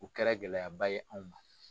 U kɛra gɛlɛyaba ye anw ma.